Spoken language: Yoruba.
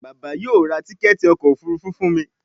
Bàbá yóò rá Tíkẹ́ẹ̀tì ọkọ̀ òfurufú fún mí